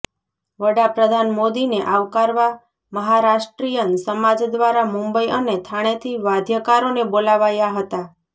વડા પ્રધાન મોદીને આવકારવા મહારાષ્ટ્રીયન સમાજ દ્વારા મુંબઇ અને થાણેથી વાદ્યકારોને બોલાવાયા હતા